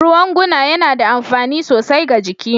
Ruwan guna yana da amfani sosai ga jiki